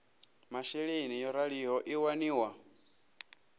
masheleni yo raliho i waniwa